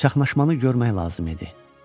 Çaxnaşmanı görmək lazım idi.